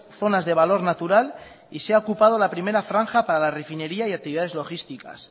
zonas de valor natural y se ha ocupado la primera franja para la refinería y actividades logísticas